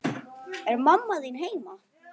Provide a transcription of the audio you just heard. Er mamma þín heima?